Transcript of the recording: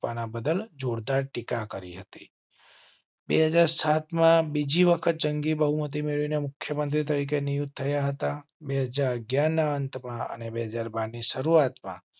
આપના બદલ જોરદાર ટીકા કરી હતી. બે હાજર સાતમાં બીજી વખત જંગી બહુમતી મળી ને મુખ્ય મંત્રી તરીકે નિયુક્ત થયા હતા. બે હાજર અગિયાર ના અંતમાં અને બે હાજર બાર ની શરૂઆત માં